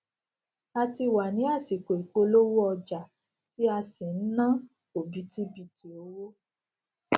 a ti wà ní àsìkò ìpolówó ọjà ti a sì n na obitibiti owó